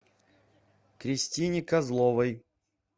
кристине козловой